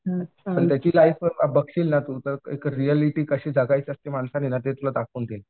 टायची life बघशील ना तू तर एक रिऍलिटी कशी जगायची असते ना माणसाने ते तुला दाखवून देईल.